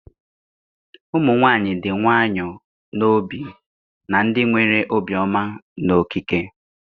Ụmụ nwanyị dị nwayọọ n'obi na ndị nwere obiọma n'okike.